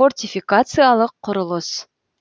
фортификациялық құрылыс